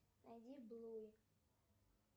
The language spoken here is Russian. найди блуи